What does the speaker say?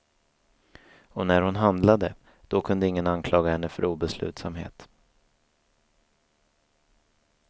Och när hon handlade, då kunde ingen anklaga henne för obeslutsamhet.